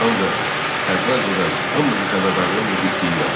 Ancaq əvvəlcədən hamınızı xəbərdarlıq edib deyirəm: